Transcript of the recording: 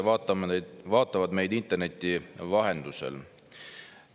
Head inimesed, kes vaatavad meid interneti vahendusel!